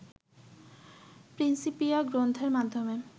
Principia গ্রন্থের মাধ্যমে